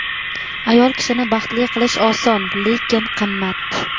"Ayol kishini baxtli qilish oson, lekin qimmat!".